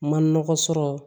Ma nɔgɔ sɔrɔ